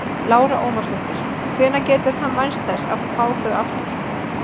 Lára Ómarsdóttir: Hvenær getur hann vænst þess að fá þau aftur?